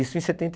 Isso em setenta